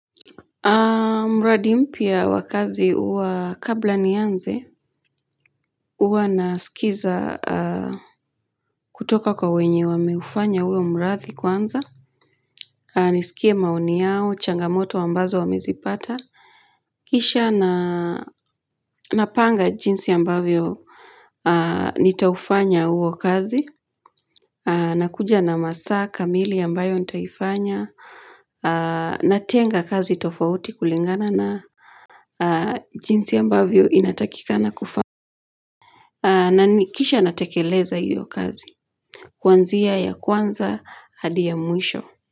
Mradi mpya wa kazi wa kabla nianze huwa nasikiza kutoka kwa wenye wameufanya huo mradi kwanza nisikie maoni yao changamoto ambazo wamezipata kisha na napanga jinsi ambavyo nitaufanya huo kazi nakuja na masaa kamili ambayo nitaifanya Natenga kazi tofauti kulingana na jinsi ambavyo inatakikana kufa na kisha natekeleza hiyo kazi kwanzia ya kwanza hadia mwisho.